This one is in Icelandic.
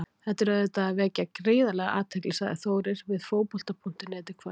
Þetta er auðvitað að vekja gríðarlega athygli, sagði Þórir við Fótbolta.net í kvöld.